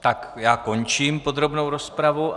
Tak já končím podrobnou rozpravu.